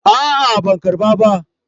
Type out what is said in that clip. A'a ban karɓa ba.